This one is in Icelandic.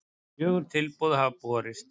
Fjögur tilboð hafa borist